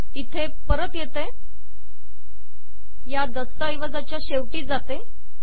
इथे परत येते या दस्तऐवजाच्या शेवटी जाते